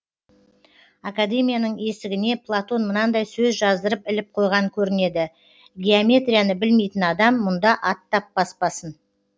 академияның есігіне платон мынандай сөз жаздырып іліп қойған көрінеді геометрияны білмейтін адам мұнда аттап баспасын